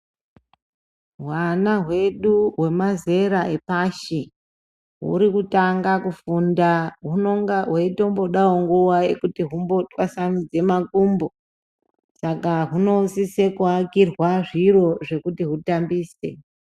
Hwana hwedu hwemazera epashi, huri kutanga kufunda, hunonga hweitombodawo nguwa yekuti humbotwasanudze makumbo. Saka hunosise kuakirwa zviro zvekuti hutambise.